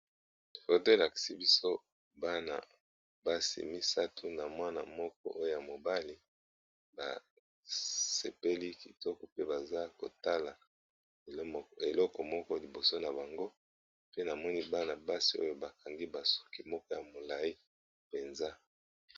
Photo elakisi bison Bana basi mibale nazotala bazotambola bazo lakisa biso bazotambola